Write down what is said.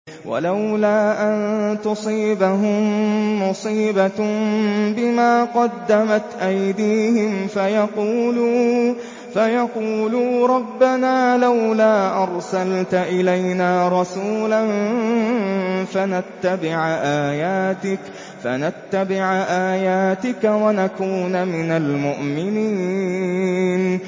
وَلَوْلَا أَن تُصِيبَهُم مُّصِيبَةٌ بِمَا قَدَّمَتْ أَيْدِيهِمْ فَيَقُولُوا رَبَّنَا لَوْلَا أَرْسَلْتَ إِلَيْنَا رَسُولًا فَنَتَّبِعَ آيَاتِكَ وَنَكُونَ مِنَ الْمُؤْمِنِينَ